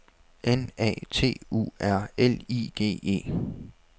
N A T U R L I G E